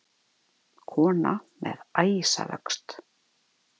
Kona með æsavöxt.